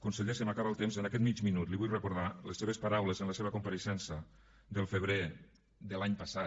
conseller se m’acaba el temps en aquest mig minut li vull recordar les seves paraules en la seva compareixença del febrer de l’any passat